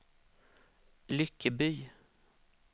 Lyckeby